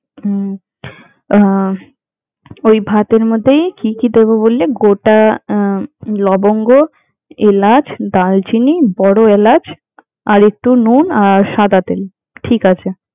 হম আহ ওই ভাতের মধ্যেই কি কি দেব বললি? গোটা লবঙ্গ, এলাচ, দারচিনি, বড় এলাচ আর একটু নূন আর সাদা তেল, ঠিক আছে।